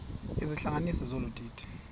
izihlanganisi zolu didi